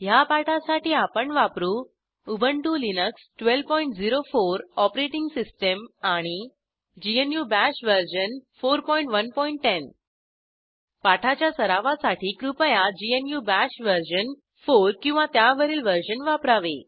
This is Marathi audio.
ह्या पाठासाठी आपण वापरू उबंटु लिनक्स 1204 ओएस आणि ग्नू बाश वर्जन 4110 पाठाच्या सरावासाठी कृपया ग्नू बाश वर्जन 4 किंवा त्यावरील वर्जन वापरावे